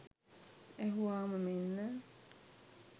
ඇහුවාම මෙන්න